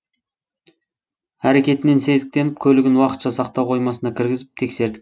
әрекетінен сезіктеніп көлігін уақытша сақтау қоймасына кіргізіп тексердік